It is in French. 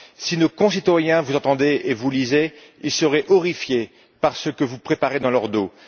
Si nos concitoyens vous entendaient et vous lisaient, ils seraient horrifiés par ce que vous préparez dans leur dos.